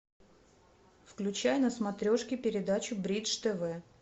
включай на смотрешке передачу бридж тв